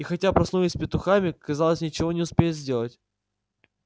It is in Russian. и хотя проснулись с петухами казалось ничего не успеют сделать